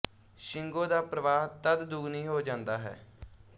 ਸ਼ਿੰਗੋ ਦਾ ਪ੍ਰਵਾਹ ਤਦ ਦੁਗਣੀ ਹੋ ਜਾਂਦਾ ਹੈ